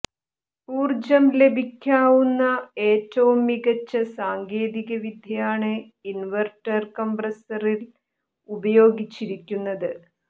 ഊർജം ലാഭിക്കാവുന്ന ഏറ്റവും മികച്ച സാങ്കേതിക വിദ്യയാണ് ഇൻവേർട്ടർ കംപ്രസറിൽ ഉപയോഗിച്ചിരിക്കുന്നത്